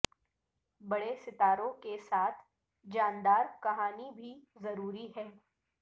بڑے ستاروں کے ساتھ جاندار کہانی بھی ضروری ہے